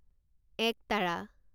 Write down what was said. একতাৰা